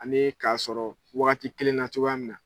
A me k'a sɔrɔ wagati kelen na cogoya min na.